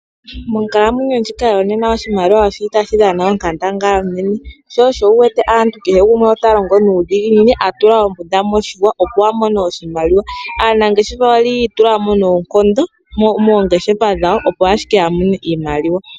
Monkalamwenyo ndjika yo nena oshimaliwa oshi li tashi dhana onkandangala onene. Aantu ayehe otaa longo nuudhiginini ya tula oombunda miiihwa opo ya mone imaliwa. Aanangeshefa oyi itulamo noonkondo moongeshefa dhawo opo ashike ya mone iimaliwa.